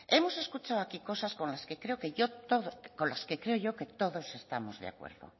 hemos escuchado aquí cosas con las que creo que yo todo con las que creo yo que todos estamos de acuerdo